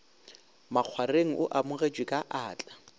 makgwareng o amogetšwe ka atla